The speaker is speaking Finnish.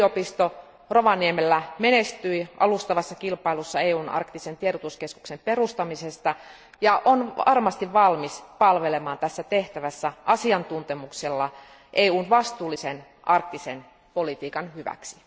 Lapin yliopisto Rovaniemellä menestyi alustavassa kilpailussa EUn arktisen tiedotuskeskuksen perustamisesta ja on varmasti valmis palvelemaan tässä tehtävässä asiantuntemuksella EUn vastuullisen arktisen politiikan hyväksi.